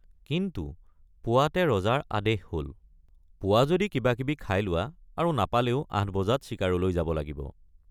কিন্তু পুৱাতে ৰজাৰ আদেশ হল—পোৱা যদি কিবাকিবি খাই লোৱা আৰু নাপালেও ৮ বজাত চিকাৰলৈ যাব লাগিব।